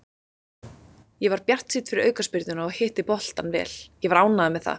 Ég var bjartsýnn fyrir aukaspyrnuna og hitti boltann vel, ég var ánægður með það.